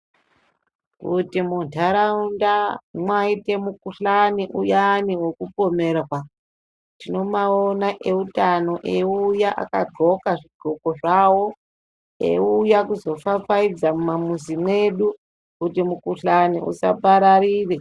Kuti muntaraunda mwaite mukuhlani uyani vekupomerwa. Tinobaona eutano eiuya akadhloka zvidhloko zvavo, eiuya kuzofafaidza mumamuzi mwedu kuti mukuhlani usapararire.